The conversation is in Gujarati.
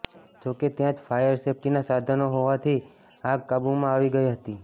જોકે ત્યાં જ ફાયર સેફ્ટીનાં સાધનો હોવાથી આગ કાબૂમાં આવી ગઇ હતી